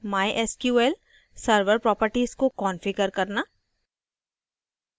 mysql server properties को configure करना